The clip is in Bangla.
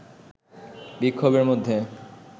বিক্ষোভের মধ্যেই